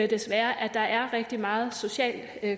desværre at der er rigtig meget social